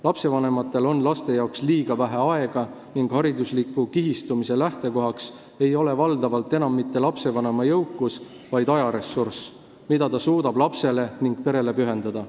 Lastevanematel on laste jaoks liiga vähe aega ning haridusliku kihistumise lähtekohaks ei ole valdavalt enam mitte lapsevanema jõukus, vaid ajaressurss, mida ta suudab lapsele ja perele pühendada.